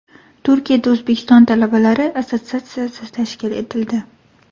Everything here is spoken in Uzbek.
Turkiyada O‘zbekiston talabalari assotsiatsiyasi tashkil etildi.